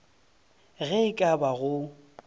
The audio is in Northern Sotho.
ge e ka ba go